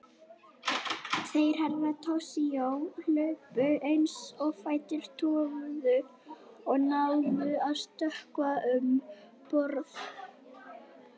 Þeir Herra Toshizo hlupu eins og fætur toguðu og náðu að stökkva um borð.